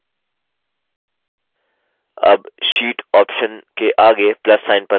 अब sheet option के आगे plus sign पर click करें